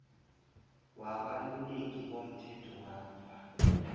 wabaluleki bomthetho bamva